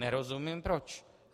Nerozumím proč.